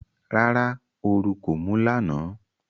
Rárá, oru kò mú lánàá.